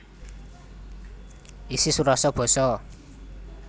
Isi surasa basa